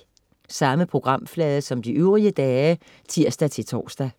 Samme programflade som de øvrige dage (tirs-tors)